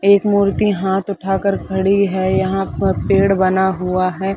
एक मूर्ति हाथ उठाकर खड़ी हे यहाँ पर पेड़ बना हुआ हे।